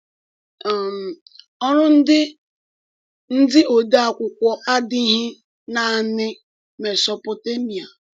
um Ọrụ ndị ndị ode akwụkwọ adịghị naanị Mesopotemiạ.